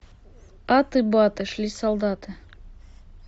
аты баты шли солдаты